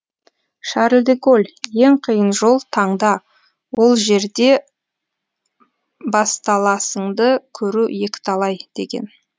шарль де голь ең қиын жол таңда ол жерде басталасыңды көру екіталай деген